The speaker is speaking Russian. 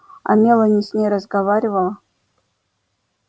а мелани с ней разговаривала